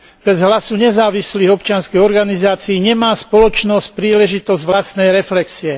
Bez hlasu nezávislých občianskych organizácií nemá spoločnosť príležitosť vlastnej reflexie.